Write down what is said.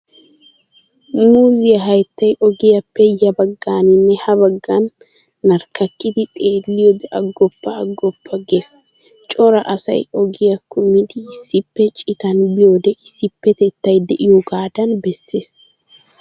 Muuzziyaa hayttay ogiyaappe ya baggaaninne ha baggan narkkakidi xeelliyoode aggoppa aggoppa gees. Cora asay ogiyaa kummidi issippe cittan biyoode issippetettay de'iyoogaadan bessees.